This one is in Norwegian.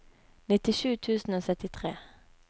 nittisju tusen og syttitre